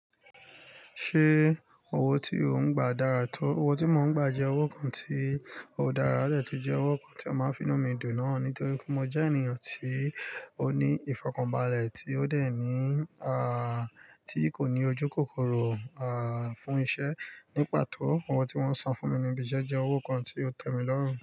Ṣé owó tí ò ń gba dára tó? Owó tí mò ń gba jẹ owó kan tí ò dára rẹ ti jẹ owó kan tí a máa ń fi ná mi dùn náà nítorí pé mo jẹ́ ènìyàn tí ó ní ìfọ̀kànbalẹ̀ tí ó dè ní, tí kò ní ojúkòkòrò, fún iṣẹ́. Ní pàtó, owó tí wọ́n san fún mi níbi iṣẹ́ jẹ owó kan tí ó tẹ́mi lọ́rùú.